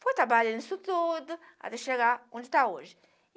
Fui trabalhando isso tudo até chegar onde está hoje.